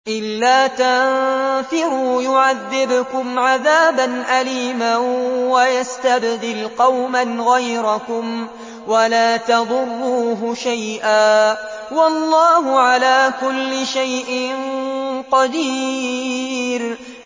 إِلَّا تَنفِرُوا يُعَذِّبْكُمْ عَذَابًا أَلِيمًا وَيَسْتَبْدِلْ قَوْمًا غَيْرَكُمْ وَلَا تَضُرُّوهُ شَيْئًا ۗ وَاللَّهُ عَلَىٰ كُلِّ شَيْءٍ قَدِيرٌ